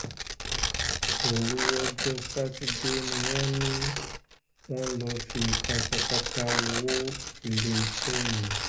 òru ọjọ́ sátidé ni wọ́n ni wọ́n lọ́ọ́ fi katakata wọ iléeṣẹ́ mi